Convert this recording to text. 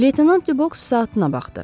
Leytenant Dübəks saatına baxdı.